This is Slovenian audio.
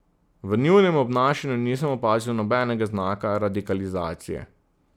V njunem obnašanju nisem opazil nobenega znaka radikalizacije.